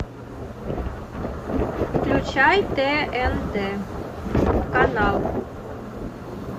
включай тнт канал